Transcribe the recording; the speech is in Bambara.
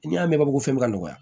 N'i y'a mɛn bamanankan ko bɛ nɔgɔya